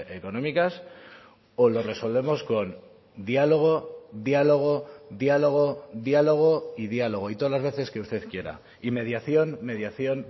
económicas o lo resolvemos con diálogo diálogo diálogo diálogo y diálogo y todas las veces que usted quiera y mediación mediación